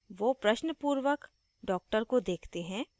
वो प्रश्न पूर्वक doctor को देखते हैं